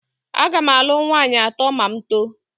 Aga m alụ nwaanyị atọ ma m too